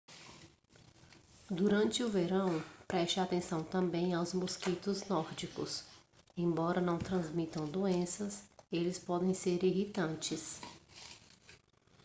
durante o verão preste atenção também aos mosquitos nórdicos embora não transmitam doenças eles podem ser irritantes